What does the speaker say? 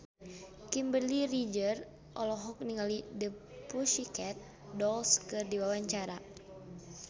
Kimberly Ryder olohok ningali The Pussycat Dolls keur diwawancara